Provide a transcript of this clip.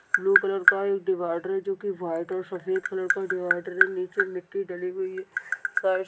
blue colour का एक divider है जोकी व्हाइट और सफेद कलर का डिवाइडर नीचे मिट्टी डाली हुई है फर्श--